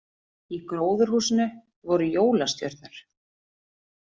Í gróðurhúsinu voru jólastjörnur